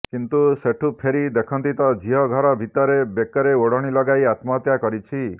କିନ୍ତୁ ସେଠୁ ଫେରି ଦେଖନ୍ତି ତ ଝିଅ ଘର ଭିତରେ ବେକରେ ଓଢ଼ଣୀ ଲଗାଇ ଆତ୍ମହତ୍ୟା କରିଛି